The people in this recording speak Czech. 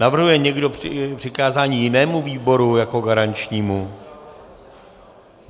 Navrhuje někdo přikázání jinému výboru jako garančnímu?